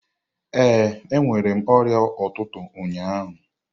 Ee, enwere m ọrịa ụtụtụ ụnyaahụ.